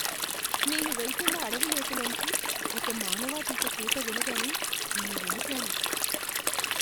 నేను వెళ్తున్న అడవి లోతుల్లోంచి ఒక మానవాతీత కూత వినగానే నేను వణికాను.